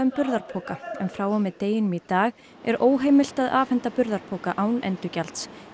burðarpoka en frá og með deginum í dag er óheimilt að afhenda burðarpoka án endurgjalds